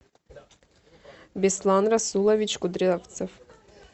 беслан расулович кудрявцев